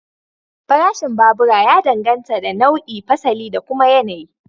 Farashin babura ya danganta da nau'i, fasali da kuma yanayi.